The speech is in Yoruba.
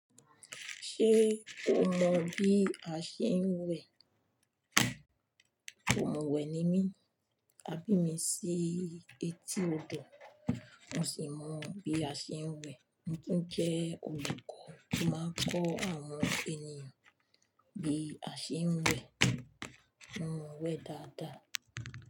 Ṣé o mọ bí a ṣe ń wẹ̀? Òǹwẹ̀ ni mí, a bí mi sí etí odò, mo sì mọ bí a ṣe ń wẹ̀. Mo tun jẹ́ olùkọ́ tó máa kọ́ àwọn ènìyàn bí a ṣe ń wẹ̀. Mo mọ wẹ̀ dáadáa.